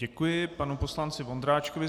Děkuji panu poslanci Vondráčkovi.